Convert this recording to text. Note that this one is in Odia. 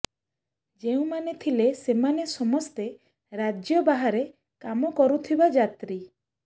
ଯେଉଁମାନେ ଥିଲେ ସେମାନେ ସମସ୍ତେ ରାଜ୍ୟ ବାହାରେ କାମ କରୁଥିବା ଯାତ୍ରୀ